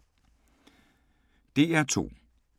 DR2